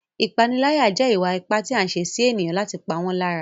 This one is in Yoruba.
Ìpániláyà jẹ́ ìwà ipá tí a ń ṣe sí ènìyàn láti pa wọ́n lára.